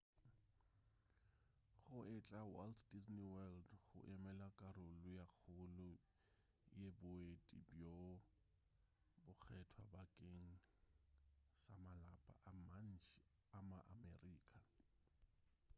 go etela walt disney world go emela karolo ye kgolo ya boeti bjo bokgethwa bakeng sa malapa a mantši a ma-america